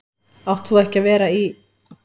Átt þú ekki að vera í.-?